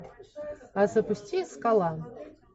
запусти скала